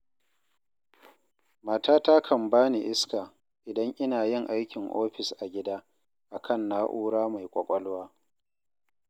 Matata kan bani iska, idan ina yin aikin ofis a gida, a kan na'ura mai ƙwaƙwalwa.